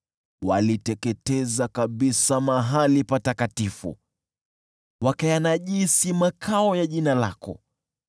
Waliteketeza kabisa mahali pako patakatifu, wakayanajisi makao ya Jina lako.